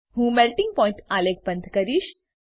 હું melting point આલેખ બંધ કરીશ